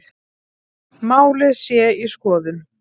Málið sé í skoðun